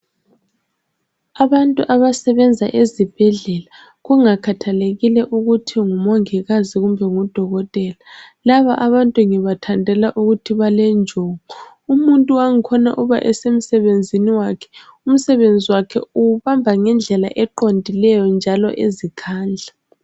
Abantu abasebenza ezibhedlela kungakhathalekile ukuthi ngumongikazi kumbe ngudokotela. Labo abantu ngibathandela ukuthi balenjongo. Umuntu wangkhona uba esemsebenzini wakhe, umsebenzi wakhe uwubamba ngendlela eqondileyo njalo ezikhandla.